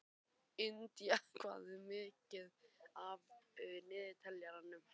Indía, hvað er mikið eftir af niðurteljaranum?